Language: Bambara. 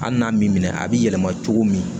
Hali n'a m'i minɛ a b'i yɛlɛma cogo min